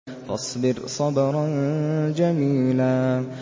فَاصْبِرْ صَبْرًا جَمِيلًا